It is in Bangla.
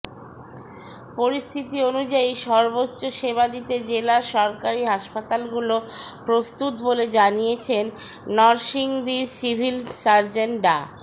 পরিস্থিতি অনুযায়ী সর্বোচ্চ সেবা দিতে জেলার সরকারি হাসপাতালগুলো প্রস্তুত বলে জানিয়েছেন নরসিংদীর সিভিল সার্জন ডা